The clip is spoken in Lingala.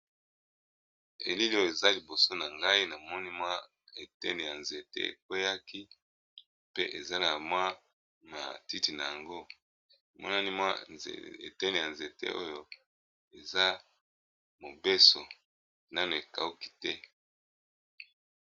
Elili eza liboso na ngai na moni mwa eteni ya nzete e kweyaki pe eza na mwa matiti na yango emonani mwa eteni ya nzete oyo eza mobeso nanu, ekawuki te .